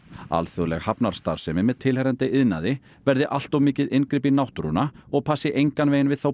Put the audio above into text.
alþjóðleg hafnarstarfsemi með tilheyrandi iðnaði verði allt of mikið inngrip í náttúruna og passi engan veginn við þá